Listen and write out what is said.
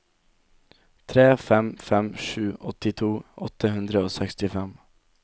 tre fem fem sju åttito åtte hundre og sekstifem